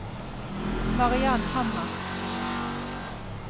Mariann Hammer